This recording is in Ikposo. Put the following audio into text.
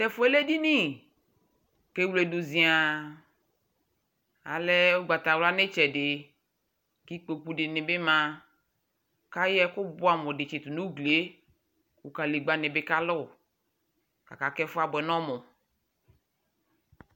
T'ɛfuɛ lɛ edini k'ewledu ziaa Alɛ ugbata wla n'itsɛdi, k'ikpoku dini bi ma, k'ayɔ ɛku buamu di tsitu n'uglie ku kalegbǝ ni bi ka lu, kaka k'ɛfuɛ abu n'ɔmu